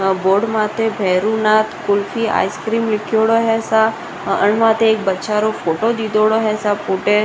board माथे Bheronath kulfi ice cream लिखेड़ों है ऐसा अन मात एक बच्चा --